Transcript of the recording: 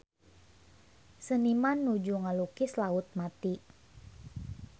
Seniman nuju ngalukis Laut Mati